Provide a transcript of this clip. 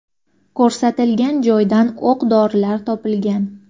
Ko‘rsatilgan joydan o‘q-dorilar topilgan.